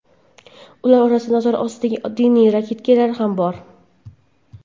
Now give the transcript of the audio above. Ular orasida nazorat ostidagi diniy radikal ham bor.